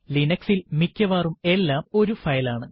Linux ൽ മിക്കവാറും എല്ലാം ഒരു ഫയൽ ആണ്